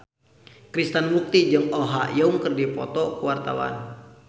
Krishna Mukti jeung Oh Ha Young keur dipoto ku wartawan